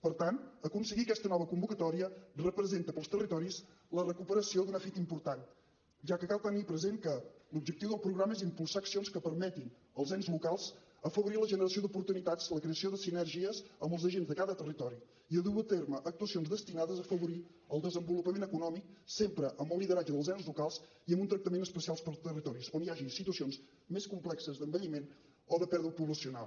per tant aconseguir aquesta nova convocatòria representa per als territoris la recuperació d’una fita important ja que cal tenir present que l’objectiu del programa és impulsar accions que permetin als ens locals afavorir la generació d’oportunitats la creació de sinergies amb els agents de cada territori i dur a terme actuacions destinades a afavorir el desenvolupament econòmic sempre amb el lideratge dels ens locals i amb un tractament especial per als territoris on hi hagi situacions més complexes d’envelliment o de pèrdua poblacional